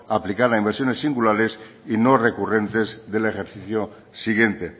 aplicar a inversiones singulares y no recurrentes del ejercicio siguiente